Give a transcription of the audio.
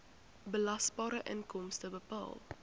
belasbare inkomste bepaal